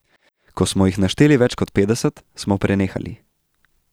Ko smo jih našteli več kot petdeset, smo prenehali.